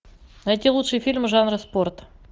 найти лучшие фильмы жанра спорт